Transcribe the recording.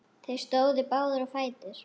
Þeir stóðu báðir á fætur.